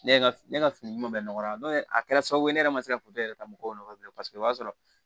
Ne ye ne ka fini ɲuman bɛɛ nɔgɔya n'o ye a kɛra sababu ye ne yɛrɛ ma se ka foronto yɛrɛ ta mɔgɔw nɔfɛ bilen paseke o b'a sɔrɔ